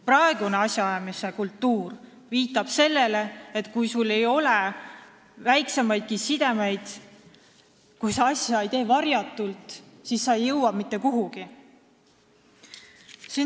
Praegune asjaajamise kultuur viitab sellele, et kui sul ei ole väiksemaidki sidemeid ja kui sa ei tee asja varjatult, siis sa ei jõua mitte kuhugi.